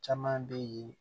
Caman bɛ yen